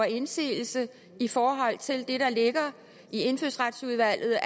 indsigelse i forhold til det der ligger i indfødsretsudvalget